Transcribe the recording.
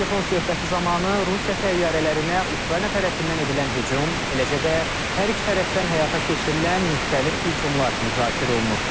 Telefon söhbəti zamanı Rusiya təyyarələrinə Ukrayna tərəfindən edilən hücum, eləcə də hər iki tərəfdən həyata keçirilən müxtəlif hücumlar müzakirə olunub.